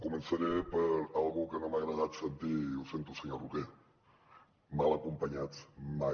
començaré per una cosa que no m’ha agradat sentir ho sento senyor roquer mal acompanyats mai